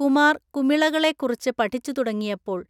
കുമാർ കുമിളകളെ കുറിച്ച് പഠിച്ച്‌ തുടങ്ങിയപ്പോൾ